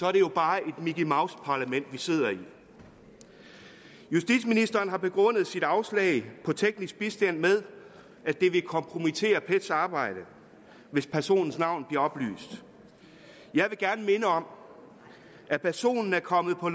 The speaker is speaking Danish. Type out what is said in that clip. er det jo bare et mickey mouse parlament vi sidder i justitsministeren har begrundet sit afslag på teknisk bistand med at det vil kompromittere pets arbejde hvis personens navn bliver oplyst jeg vil gerne minde om at personen er kommet på